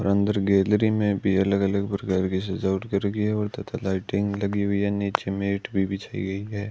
और अंदर गैलरी में भी अलग-अलग प्रकार की सजावट कर रखी है और तथा लाइटिंग लगी हुई है नीचे मैट भी बिछाई गई है।